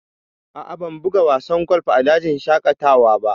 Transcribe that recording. A'a, ban buga wasan golf a dajin shaƙatawa ba